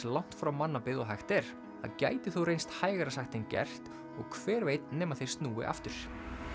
langt frá mannabyggð og hægt er það gæti þó reynst hægara sagt en gert og hver veit nema þeir snúi aftur